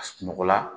Sunɔgɔ la